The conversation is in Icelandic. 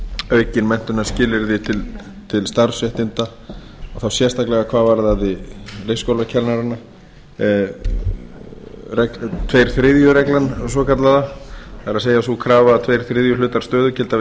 aukin menntunarskilyrði til starfsréttinda og þá sérstaklega hvað varðaði leikskólakennara tveir þriðju reglan svokallaða það er sú krafa að tveir þriðju hluta stöðugilda við